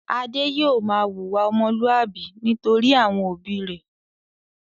Adé yóò máa wùwà ọmọlúwàbí nítorí àwọn òbí rẹ̀.